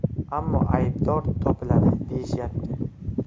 Ammo aybdor topiladi deyishyapti.